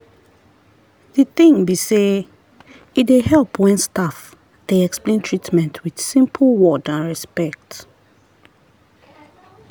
the thing be sey e dey help when staff dey explain treatment with simple word and respect.